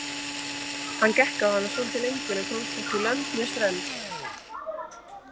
Hann gekk á hana svolítið lengur en komst hvorki lönd né strönd.